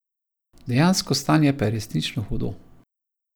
Dejansko stanje pa je resnično hudo.